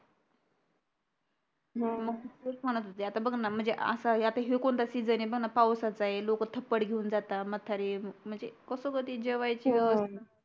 हम्म तेच म्हणत होते बघणं म्हणजे असा अह आता ह्यो कोणता season हे ब ना पावसाचा ए लोक थपड घेऊन जातात म्हतारी म्हणजे कस ग जेवायची व्यवस्था